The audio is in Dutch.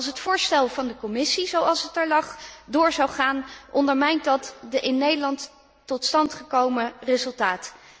Als het voorstel van de Commissie, zoals het er lag, door zou gaan, ondermijnt dat het in Nederland tot stand gekomen resultaat.